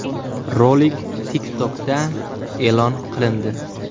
Rolik TikTok’da e’lon qilindi.